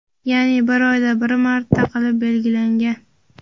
ya’ni bir oyda bir marta qilib belgilangan.